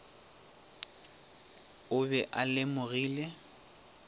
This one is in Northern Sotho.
o be a e lemogile